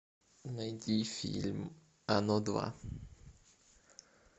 найди фильм оно два